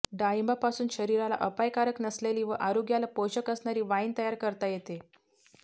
डाळिंबापासून शरीराला अपायकारक नसलेली व आरोग्याला पोषक असणारी वाईन तयार करता येते